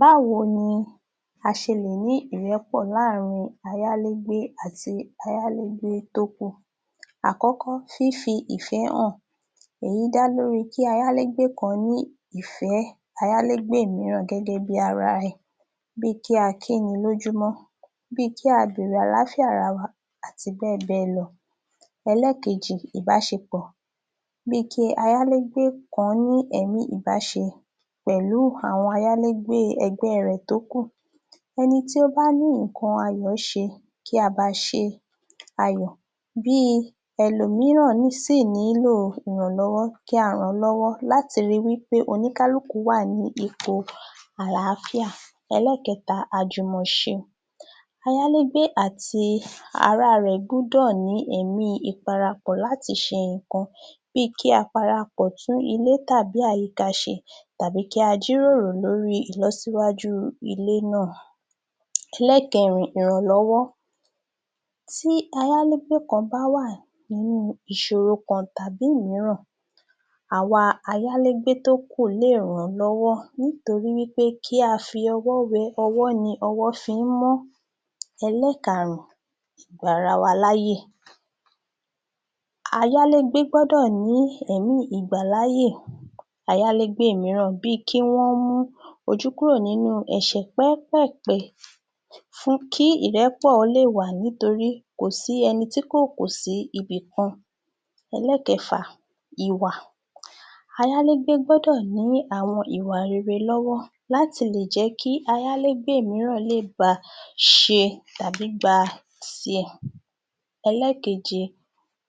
Báwo ni a ṣe lè ní ìrẹ́pọ̀ láàárin ayálégbé àti ayálégbé tó kù. Àkọ́kọ́ fífi ìfẹ́ hàn. Èyí dá lórí kí ayálégbé kan ní ìfẹ́ ayálégbé mìíràn gẹ́gẹ́ bí i ara rẹ̀. Bí i Kí a kíni lójúmọ́, bí i Kí a béèrè àlàáfíà ara ẹni àti bẹ́ẹ̀ bẹ́ẹ̀ lọ. Ẹlẹ́ẹ̀kejì Ìbáṣepọ̀ bí i Kí ayálégbé kan ní ẹ̀mí Ìbáṣe pẹ̀lú àwọn ayálégbé ẹgbẹ́ rẹ̀ tókù. Ẹni tí ó bá ní nǹkan ayọ̀ ṣe kí a bá a ṣe ayọ̀ bí ẹlòmíràn sí i nílò ìrànlọ́wọ́ kí a ràn án lọ́wọ́ láti rí wí pé oníkálùkù wà ní ipò àlàáfíà. Ẹlẹ́ẹ̀kẹta àjùmọ̀ṣe. Ayálégbé àti ará rẹ̀ gbọ́dọ̀ ní ẹ̀mí ìparapọ̀ láti ṣe nǹkan bí i Kí a parapọ̀ láti tún ilé tàbí àyíká ṣe tàbí kí a jíròrò lórí ìlọsíwájú ilé náà. Ẹlẹ́ẹ̀kẹrin tí ayálégbé kan bá wà nínú ìṣòro kan tàbí òmìíràn àwa ayálégbé tó kù lè ràn án lọ́wọ́ nítorí wí pé kí a fi ọwọ́ wẹ ọwọ́ ni ọwọ́ ṣe ń mọ́. Ẹlẹ́ẹ̀kárùn-ún ìgbarawaláyè, ayálégbé gbọ́dọ̀ ní ẹ̀mí ìgbàláyè ayálégbé mìíràn bí i Kí wọ́n mú ojú kúrò nínú ẹ̀ṣẹ̀ pẹ́ẹ́pẹ̀ẹ̀pẹ́ fún kí ìrẹ́pọ̀ lè wà nítorí kò sí ẹni tí kò kù sí ibìkan. Ẹlẹ́ẹ̀kẹfà ìwà, ayálégbé gbọ́dọ̀ ní àwọn ìwà Ire lọ́wọ́ láti lè jẹ́ kí ayálégbé mìíràn lè ba ṣe tàbí gba tiẹ̀. Ẹlẹ́ẹ̀keje,